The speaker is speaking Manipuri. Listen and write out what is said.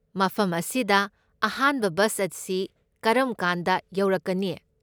ꯃꯐꯝ ꯑꯁꯤꯗ ꯑꯍꯥꯟꯕ ꯕꯁ ꯑꯁꯤ ꯀꯔꯝꯀꯥꯟꯗ ꯌꯧꯔꯛꯀꯅꯤ?